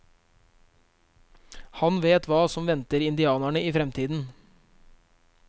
Han vet hva som venter indianerne i fremtiden.